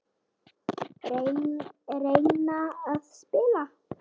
Reyna að spila!